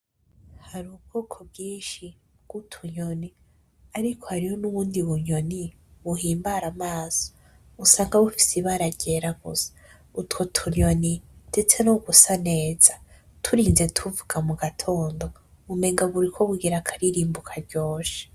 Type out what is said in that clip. Hari ubwoko bwinshi bw,utunyoni ariko hariyo n'ubundi bunyoni buhimbara amaso usanga bufise ibara ry'era gusa utwo tunyoni ndetse no gusa neza turinze tuvuga mugatondo umenga buriko bugira akaririmbo karyoshe.